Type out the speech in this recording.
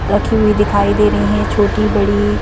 रखी हुई दिखाई दे रही हैं छोटी बड़ी--